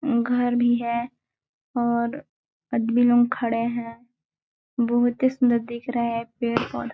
घर भी है और अदबी लोग खड़े हैं बहुत ही सुंदर दिख रहा है पे --